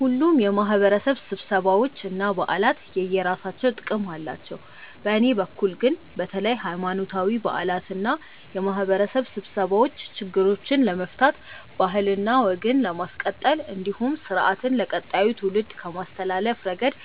ሁሉም የማህበረሰብ ስብሰባዎች እና በዓላት የየራሳቸው ጥቅም አላቸው። በእኔ በኩል ግን በተለይ ሀይማኖታዊ በዓላት እና የማህበረሰብ ስብሰባዎች ችግሮችን ለመፍታት ባህልና ወግን ለማስቀጠል እንዲሁም ስርአትን ለቀጣዩ ትውልድ ከማስተላለፍ ረገድ